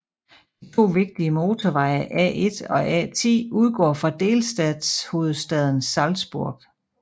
De to vigtige motorveje A1 og A10 udgår fra delstatshovedstaden Salzburg